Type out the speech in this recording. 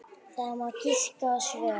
Það má giska á svör.